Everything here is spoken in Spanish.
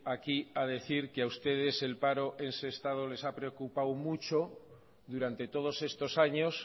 aquí a decir que a ustedes el paro en sestao les ha preocupado mucho durante todos estos años